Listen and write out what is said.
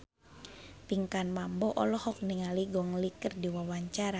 Pinkan Mambo olohok ningali Gong Li keur diwawancara